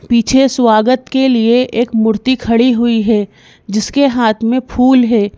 पीछे स्वागत के लिए एक मूर्ति खड़ी हुई है जिसके हाथ में फूल है।